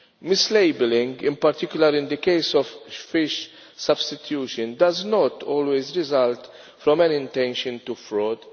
Mislabelling, particularly in the case of fish substitution, does not always result from an intention to commit fraud.